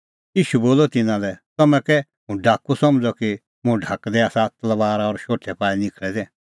ईशू बोलअ तिन्नां लै तम्हैं कै हुंह डाकू समझ़अ कि मुंह ढाकदै आसा तलबारा और शोठै पाई निखल़ै दै